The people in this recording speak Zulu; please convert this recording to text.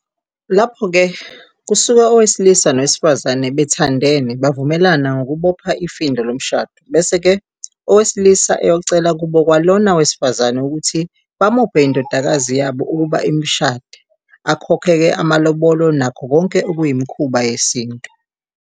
Lapho-ke kusuka owesilisa nowesifazane bethandene, bavumelana ngokubopha ifindo lomshado, bese-ke owesilisa eyocela kubo kwalona wesifazane ukuthi bamuphe indodakazi yabo ukuba imishade, akhokhe-ke amalobolo nakho konke okuyimikhuba yesintu.